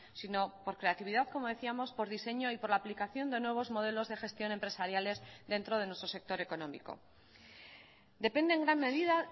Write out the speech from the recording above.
sino por creatividad como decíamos por diseño y por la aplicación de nuevos modelos de gestión empresariales dentro de nuestro sector económico depende en gran medida